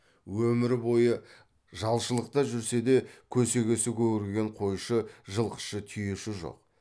өмір бойы жалшылықта жүрсе де көсегесі көгерген қойшы жылқышы түйеші жоқ